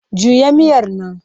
Juya miyar nan!